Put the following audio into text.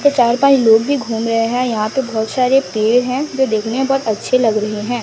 और चार पांच लोग भी घूम रहे हैं यहां पे बहुत सारे पेड़ हैं जो देखने में बहुत अच्छे लग रहे हैं।